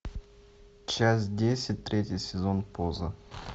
часть десять третий сезон поза